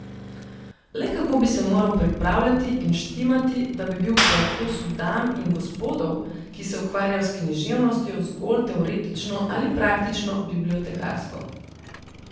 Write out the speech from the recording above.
Le kako bi se moral pripravljati in štimati, da bi bil po okusu dam in gospodov, ki se ukvarjajo s književnostjo zgolj teoretično ali praktično bibliotekarsko.